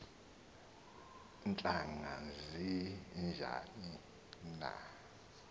ntlanga zinjani na